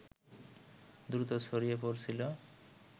দ্রুত ছড়িয়ে পড়ছিল